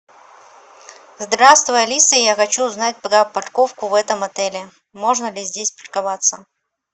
здравствуй алиса я хочу узнать про парковку в этом отеле можно ли здесь парковаться